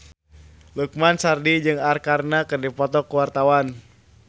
Lukman Sardi jeung Arkarna keur dipoto ku wartawan